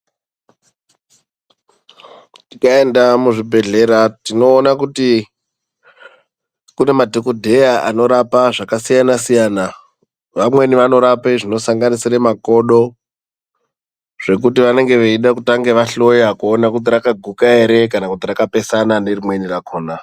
Tikaenda muzvibhedhlera tinoona kuti kune madhokodheya anorapa zvakasiyanasiyana ,vamweni vanorapa zvinosanganisire makodo ,zvekuti vanenge veida kutanga vahloya kuti rakaguka ere kana kuti rakapesana nerimweni rakona.